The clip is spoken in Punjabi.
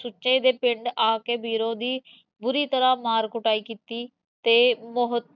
ਸੁੱਚੇ ਦੇ ਪਿੰਡ ਆਕੇ ਬੀਰੋਂ ਦੀ ਬੁਰੀ ਤਰਾਂ ਮਾਰ ਕੁਟਾਈ ਕੀਤੀ, ਤੇ ਬਹੁਤ,